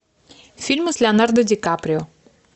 фильмы с леонардо ди каприо